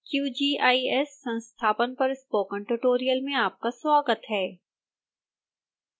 qgis संस्थापन पर spoken tutorial में आपका स्वागत है